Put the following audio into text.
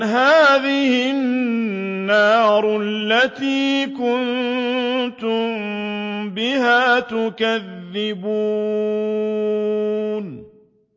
هَٰذِهِ النَّارُ الَّتِي كُنتُم بِهَا تُكَذِّبُونَ